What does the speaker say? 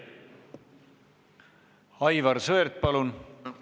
Aivar Sõerd, palun!